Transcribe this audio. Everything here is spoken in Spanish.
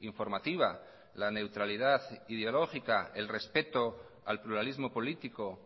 informativa la neutralidad ideológica el respeto al pluralismo político